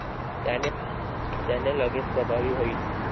त्याने लगेच प्रभावी होईल.